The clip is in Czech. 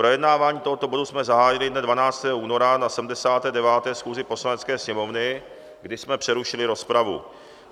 Projednávání tohoto bodu jsme zahájili dne 12. února na 79. schůzi Poslanecké sněmovny, kdy jsme přerušili rozpravu.